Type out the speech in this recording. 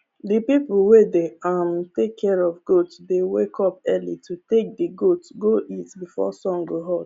d people wey dey um take care of goat dey wake up early to take d goats go eat before sun go hot